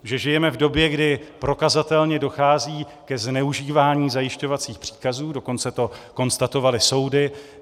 Že žijeme v době, kdy prokazatelně dochází ke zneužívání zajišťovacích příkazů, dokonce to konstatovaly soudy.